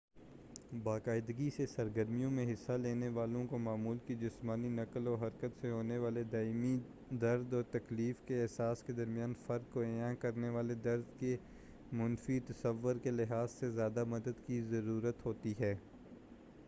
باقاعدگی سے سرگرمیوں میں حصہ لینے والوں کو معمول کی جسمانی نقل و حرکت سے ہونے والے دائمی درد اور تکلیف کے احساس کے درمیان فرق کو عیاں کرنے والے درد کے منفی تصور کے لحاظ سے زیادہ مدد کی ضرورت ہوتی ہے